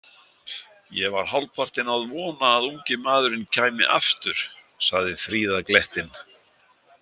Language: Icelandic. Ég var hálfpartinn að vona að ungi maðurinn kæmi aftur, sagði Fríða glettin.